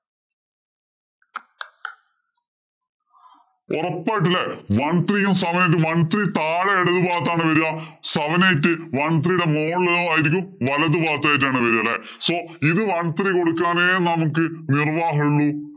ഒറപ്പായിട്ടും അല്ലേ. One three യും, seven eight ഉം one three താഴെ എടതുഭാഗത്ത് ആആണ് വരിക. Seven eight one three യുടെ മോളിലായിരിക്കും വലതു ഭാഗത്ത് ആയിട്ടാണ് വരിക അല്ലേ. So ഇത് one three കൊടുക്കാനേ നമുക്ക് നിര്‍വ്വാഹമുള്ളു.